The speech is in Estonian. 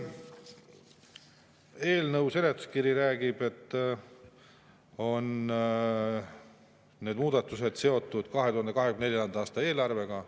Eelnõu seletuskiri räägib, et need muudatused on seotud 2024. aasta eelarvega.